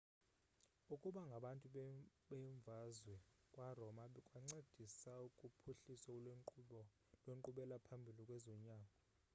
ukuba ngabantu bemvazwe kwaroma kwancedisa kuphuhliso lwenkqubela phambili kwezonyango